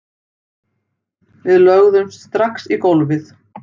Við lögðumst strax í gólfið